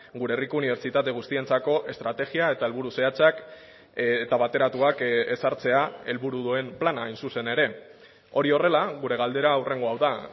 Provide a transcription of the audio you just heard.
gure herriko unibertsitate guztientzako estrategia eta helburu zehatzak eta bateratuak ezartzea helburu duen plana hain zuzen ere hori horrela gure galdera hurrengo hau da